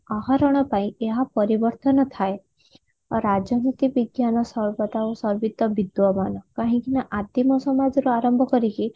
ଆହରଣ ପାଇଁ ଏହା ପରିବର୍ତନ ଥାଏ ଓ ରାଜନୀତି ବିଜ୍ଞାନ ସର୍ବଦା ଓ ସର୍ବିତ ବିଦ୍ଵବାନ୍ କାହିଁକି ନା ଆଦିମ ସମଯରୁ ଆରମ୍ଭ କରିକି